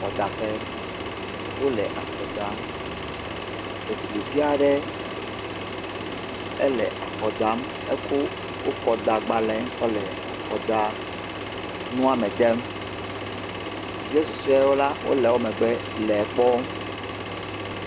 Akɔdaƒe. Wo le akɔ dam. Ɖetugbivi aɖe ele akɔ dam eko wo kɔdagbale kɔ le akɔdanua me dem. Ɖevia susɔewo la wo le wo megbe le ekpɔm